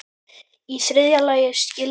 Í þriðja lagi skyldi